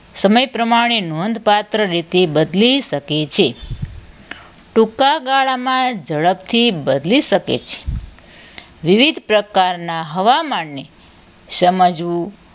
સમય પ્રમાણે નોંધપાત્ર રીતે બદલી શકે છે ટૂંકા ગાળામાં ઝડપથી બદલી શકે છે વિવિધ પ્રકારના હવામાનને સમજવું